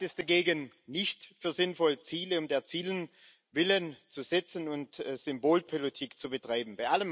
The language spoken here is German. Ich halte es dagegen nicht für sinnvoll, Ziele um der Ziele willen zu setzen und Symbolpolitik zu betreiben.